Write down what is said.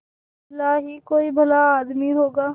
बिरला ही कोई भला आदमी होगा